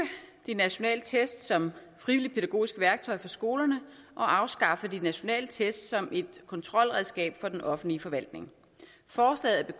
de nationale test som frivillige pædagogiske værktøjer for skolerne og afskaffe de nationale test som et kontrolredskab for den offentlige forvaltning forslaget